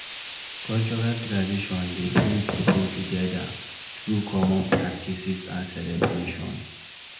Cultural tradition dey bring pipo together through common practices and celebration